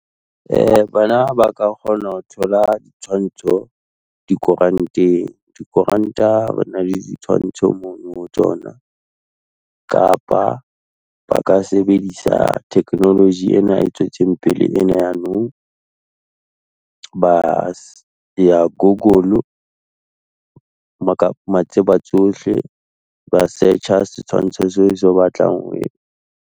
Bana ba ka kgona ho thola di tshwantsho dikoranteng, dikoranta, bana le ditshwantsho mono tsona, kapa ba ka sebedisa technology ena e tswetseng pele ena ya nou. Ba ya Google, matseba tsohle, ba search-a setshwantsho seo batlang ho